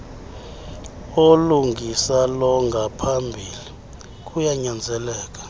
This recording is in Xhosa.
olungisa longaphambili kuyanyanzeleka